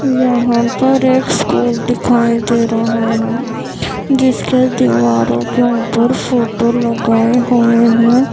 यहां पर एक स्कूल दिखाई दे रहा है। जिसके दीवारों के ऊपर फोटो लगाए हुए हैं।